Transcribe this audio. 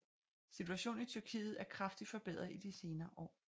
Situationen i Tyrkiet er kraftig forbedret i de senere år